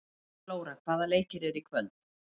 Flóra, hvaða leikir eru í kvöld?